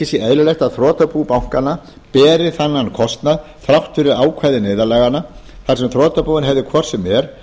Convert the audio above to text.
sé eðlilegt að þrotabú bankanna beri þennan kostnað þrátt fyrir ákvæði neyðarlaganna þar sem þrotabúin hefðu hvort sem er